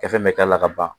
Kɛ fɛn bɛ k'a la ka ban